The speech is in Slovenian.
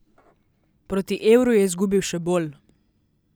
Proti evru je izgubil še bolj.